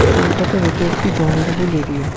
কলকাতার এটি একটি জনবহুল এরিয়া ।